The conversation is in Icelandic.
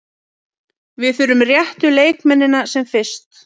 Við þurfum réttu leikmennina sem fyrst.